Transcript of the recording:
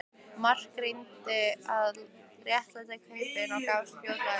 Mark reyndi að réttlæta kaupin en gafst fljótlega upp.